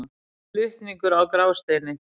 Flutningur á Grásteini.